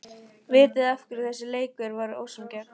Vitiði af hverju þessi leikur var ósanngjarn?